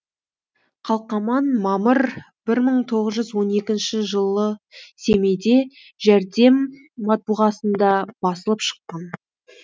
қалқаман мамыр бір мың тоғыз жүз он екінші жылы семейде жәрдем матбуғасында басылып шыққан